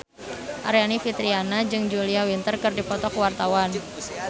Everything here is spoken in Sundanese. Aryani Fitriana jeung Julia Winter keur dipoto ku wartawan